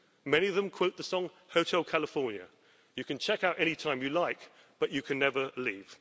Many of them quote the song Hotel California you can check out any time you like, but you can never leave.